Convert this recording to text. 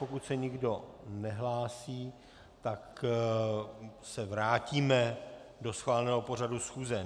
Pokud se nikdo nehlásí, tak se vrátíme do schváleného pořadu schůze.